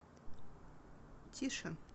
тише